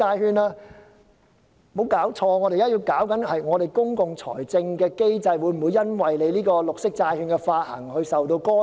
局長，別搞錯，我們當前處理的問題，是本港公共財政的機制會否因為這項綠色債券的發行而受到干擾。